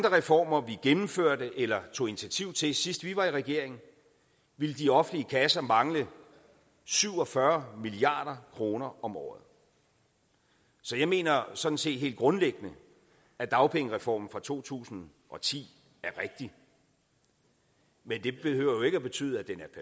reformer vi gennemførte eller tog initiativ til sidst vi var i regering ville de offentlige kasser mangle syv og fyrre milliard kroner om året så jeg mener sådan set helt grundlæggende at dagpengereformen fra to tusind og ti er rigtig men det behøver jo ikke at betyde at den